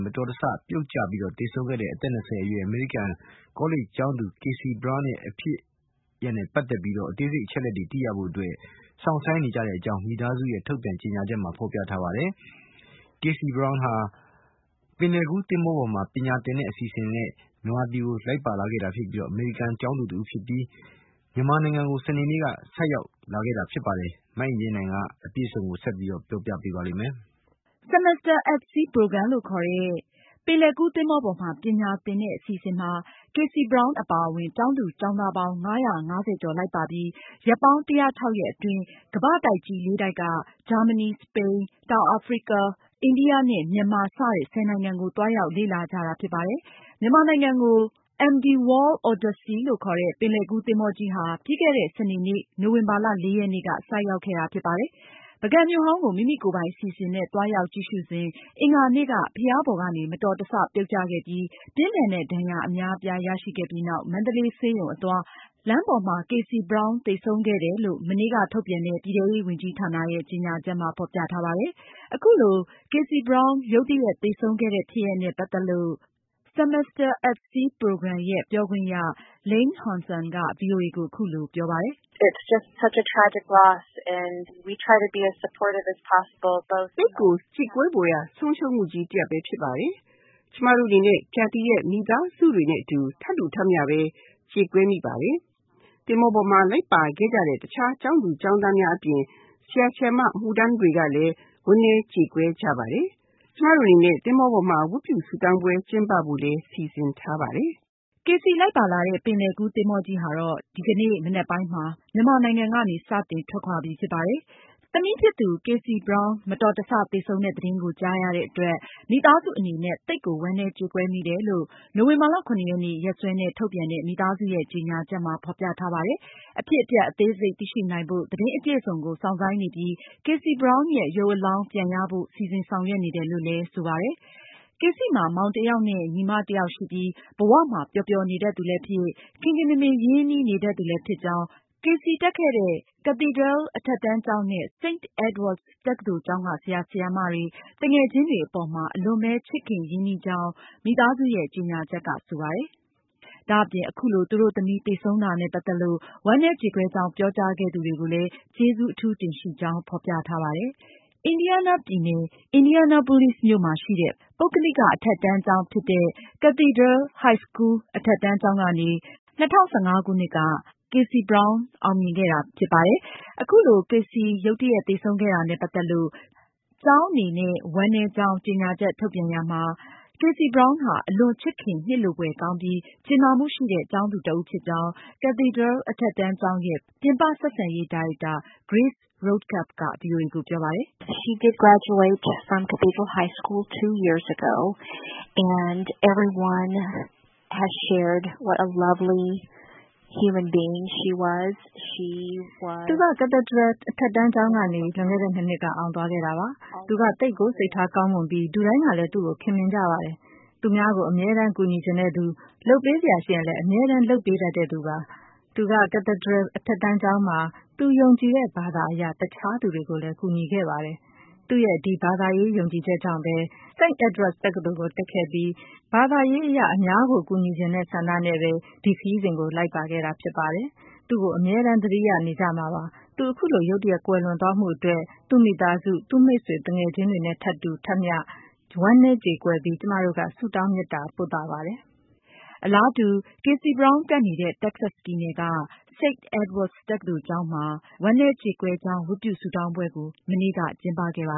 မတော်တဆ ပြုတ်ကျ သေဆုံးခဲ့တဲ့ အမေရိကန် ကောလိပ်ကျောင်းသူ Kassie Braun ရဲ့ဖြစ်ရပ်နဲ့ပတ်သက်လို့ အသေးစိတ်အချက်အလက်တွေသိရဖို့ သူတို့ စောင့်ဆိုင်းနေကြောင်း မိသားစုရဲ့ ထုတ်ပြန်ကြေညာချက်မှာ ဖေါ်ပြထားပါတယ်။ အသက် ၂၀ အရွယ် Kassie Braun ဟာ ပင်လယ်ကူးသင်္ဘောပေါ်မှာ ပညာသင်တဲ့အစီအစဉ်နဲ့ လိုက်ပါလာတဲ့ အမေရိကန်ကျောင်းသူ တဦးဖြစ်ပြီး မြန်မာနိုင်ငံကို စနေနေ့က သင်္ဘောနဲ့အတူ ဆိုက်ရောက်ခဲ့တာဖြစ်ပါတယ်။ မအင်ကြင်းနိုင်က အပြည့်အစုံကို ဆက်ပြီးပြောပြမှာပါ။ Semester at Sea program လို့ခေါ်တဲ့ ပင်လယ်ကူးသင်္ဘော ပေါ်မှာ ပညာသင်ကြားတဲ့အစီအစဉ်မှာ Kassie Braun အပါအဝင် ကျောင်းသူ၊ ကျောင်းသားပေါင်း ၅၅၀ ကျော် လိုက်ပါပြီး ရက်ပေါင်း ၁၀၆ ရက်အတွင်း ကမ္ဘာ့တိုက်ကြီး လေးတိုက်က ဂျာမနီ၊ စပိန်၊ တောင်အာဖရိက၊ အိန္ဒိယ၊ မြန်မာ စတဲ့ ၁၀ နိုင်ငံကို သွားရောက်လေ့လာကြတာဖြစ်ပါတယ်။ WV World Oddsey လို့အမည်ပေးထားတဲ့ ဒီပင်လယ်ကူးသင်္ဘောကြီးဟာ ပြီးခဲ့တဲ့ စနေနေ့ နိုဝင်ဘာလ ရက်နေ့က မြန်မာနိုင်ငံကို ဆိုက်ရောက်ခဲ့တာဖြစ်ပါတယ်။ Kassie Braun ဟာ ပုဂံမြို့ဟောင်းကို မိမိကိုယ်ပိုင်အစီအစဉ်နဲ့ သွားရောက်ကြည့်ရှုစဉ် အင်္ဂါနေ့က ဘုရားပေါ်ကနေ မတော်တဆပြုတ်ချခဲ့ပြီး ပြင်းထန်တဲ့ ဒဏ်ရာအများအပြားရရှိခဲ့ပြီးနောက် မန္တလေးဆေးရုံအသွား လမ်းပေါ်မှာ သေဆုံးခဲ့တယ်လို့ မနေ့က ထုတ်ပြန်တဲ့ ပြည်ထဲရေးဝန်ကြီးဌာနရဲ့ ကြေညာချက်မှာ ဖေါ်ပြထားပါတယ်။ အခုလို Kassie Braun ရုတ်တရက်သေဆုံးခဲ့တဲ့ ဖြစ်ရပ်နဲ့ ပတ်သက်လို့ Semester at Sea program ရဲ့ ပြောခွင့်ရ Lane Hanson ကဗွီအိုအေကို အခုလိုပြောပါတယ်။ “သိပ်ကို ကြေကွဲဖွယ်ရာ ဆုံးရှုံးမှုကြီးတရပ်ဖြစ်ပါတယ်။ ကျမတို့အနေနဲ့ Kassie ရဲ့မိဘတွေ၊ မိသားစုတွေနဲ့အတူ ထပ်တူ ထပ်မျှပဲ ကြေကွဲမိပါတယ်။ သင်္ဘောပေါ်မှာ လိုက်ပါခဲ့ကြတဲ့ တခြား ကျောင်းသူကျောင်းသားများအပြင် ဆရာ ဆရာမ အမှုထမ်းတွေကလည်း ဝမ်းနည်းကြေကွဲကြပါတယ်။ ကျမတို့အနေနဲ့ သင်္ဘောပေါ်မှာ ဝတ်ပြုဆုတောင်းပွဲ ကျင်းပဖို့လည်း စီစဉ်ထားပါတယ်။” Kassie လိုက်ပါလာတဲ့ ပင်လယ်ကူးသင်္ဘောကြီးဟာ ဒီကနေ့ ကြာသာပတေးနေ့ မနက်ပိုင်းမှာ မြန်မာနိုင်ငံကနေ စတင်ထွက်ခွာပြီဖြစ်ပါတယ်။ သင်္ဘောပေါ်မှာတော့ ဝမ်းနည်းကြေကွဲကြောင်း ဆုတောင်းပွဲပြုလုပ်ခဲ့တယ်လို့လည်း Lane Hanson ကပြောပါတယ်။ သမီးဖြစ်သူ Kassie Braun မတော်တဆသေဆုံးတဲ့သတင်းကိုကြားရတဲ့အတွက် မိသားစုအနေနဲ့ သိပ်ကိုဝမ်းနည်းကြေကွဲမိတယ်လို့နိုဝင်ဘာလ ၇ ရက်နေ့က ရက်စွဲနဲ့ ထုတ်ပြန်တဲ့ မိသားစုရဲ့ ကြေညာချက်မှာဖေါ်ပြထားပါတယ်။ အဖြစ်အပျက်အသေးစိတ်သိရှိနိုင်ဖို့ သတင်းအပြည့်အစုံကို စောင့်ဆိုင်းနေပြီး Kassie Braun ရဲ့ရုပ်အလောင်းပြန်ရဖို့ စီစဉ်ဆောင်ရွက်နေတယ်လို့လည်း ဆိုပါတယ်။ Kassie မှာ မောင်တယောက်နဲ့ ညီမတယောက်ရှိပြီး ဘဝမှာပျော်ပျော်နေတတ်သူလည်းဖြစ်၊ ခင်ခင်မင်မင်ရင်းနှီးနေတတ်သူလည်းဖြစ်ကြောင်း၊ Kassie တက်ခဲ့တဲ့ Cathedral အထက်တန်းကျောင်းနဲ့ St. Edward’s တက္ကသိုလ်ကျောင်းက ဆရာဆရာမတွေ၊ သူငယ်ချင်းတွေ အပေါ်မှာ သူဟာ အလွန်ပဲ ချစ်ခင်ရင်းနှီးကြောင်း မိသားစုရဲ့ ကြေညာချက်က ဆိုပါတယ်။ ဒါအပြင် အခုလို သူ့တို့သမီး သေဆုံးတာနဲ့ ပတ်သက်လို့ ဝမ်းနည်းကြေကွဲကြောင်းပြောကြားခဲ့သူတွေကို ကျေးဇူးတင်ရှိကြောင်းလည်းဖေါ်ပြထားပါတယ်။ အင်ဒီယားနားပြည်နယ် Indianapolis မြို့မှာရှိတဲ့ ပုဂ္ဂလိကအထက်တန်းကျောင်းဖြစ်တဲ့ Cathedral High school အထက်တန်းကျောင်းကနေ Kassie Braun ဟာ အထက်တန်းပညာကို၂၀၁၅ခုနှစ်က အောင်မြင်ခဲ့တာဖြစ်ပါတယ်။ အခုလို Kassie ရုတ်တရက် သေဆုံးခဲ့တာနဲ့ ပတ်သက်လို့ ကျောင်းအနေနဲ့ ဝမ်းနည်းကြောင်း ကြေညာချက် ထုတ်ပြန်ရာမှာ သူဟာ အလွန်ချစ်ခင်နှစ်လိုဖွယ်ကောင်းပြီး ကြင်နာမှုရှိတဲ့ ကျောင်းသူတဦးဖြစ်ကြောင်း Cathedral အထက်တန်းကျောင်းရဲ့ ပြင်ပဆက်ဆံရေး ဒါရိုက်တာ Grace Rodecap က ဗွီအိုအေကို ပြောပါတယ်။ “သူက Cathedral အထက်တန်းကျောင်းကနေ လွန်ခဲ့တဲ့နှစ်နှစ်က အောင်သွားခဲ့တာပါ။ သူဟာ သိပ်ကို စိတ်ထားကောင်းမွန်သူဖြစ်ပြီး လူတိုင်းကလည်း သူ့ကို ခင်မင်ကြပါတယ်။ သူများကို အမြဲကူညီချင်တဲ့သူ လုပ်ပေးစရာရှိရင်လည်း အမြဲ လုပ်ပေးတတ်သူဖြစ်ပါတယ်။ သူက Cathedral အထက်တန်းကျောင်းမှာ သူယုံကြည်တဲ့ဘာသာအရ တခြားသူတွေကိုလည်း ကူညီခဲ့သူဖြစ်ပါတယ်။ သူ့ရဲ့ဒီဘာသာရေး ယုံကြည်ချက် ကြောင့်ပဲ သူဟာ st. Edwards တက္ကသိုလ်ကို တက်ခဲ့ပြီး အခု သူဟာ ဘာသာရေးအရ အများကို ကူညီချင်တဲ့ဆန္ဒနဲ့ ဒီခရီးစဉ်ကို လိုက်ပါခဲ့တာဖြစ်ပါတယ်။ သူ့ကို အမြဲသတိရနေကြမှာပါ။ သူ အခုလို ရုတ်တရက်ကွယ်လွန်သွားမှုအတွက် သူ့မိသားစု၊ သူ့မိတ်ဆွေ သူငယ်ချင်းတွေနဲ့အတူ ထပ်တူထပ်မျှ ဝမ်းနည်းကြေကွဲပြီး ကျမတို့ ဆုတောင်းမေတ္တာ ပို့သပါတယ်။” အလားတူ Kassie Braun တက်ခဲ့တဲ့ တက္ကဆက်ပြည်နယ်က St. Edward’s တက္ကသိုလ်ကျောင်းမှာ သူ့ အတွက် ဝမ်းနည်းကြေကွဲကြောင်း ဝတ်ပြုဆုတောင်းပွဲကို မနေ့ကကျင်းပခဲ့ပါ